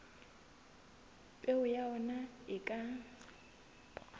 peo ya ona e ka